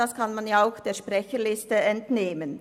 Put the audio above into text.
Das kann man auch der Sprecherliste entnehmen.